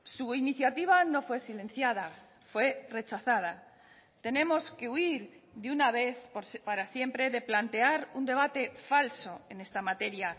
su iniciativa no fue silenciada fue rechazada tenemos que huir de una vez para siempre de plantear un debate falso en esta materia